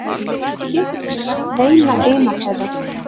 Við getum ekki merkt neina eina þeirra.